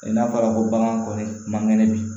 N'a fɔra ko bagan kɔni man kɛnɛ bi